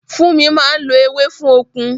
Fúnmi máa ń lo ewé fún okun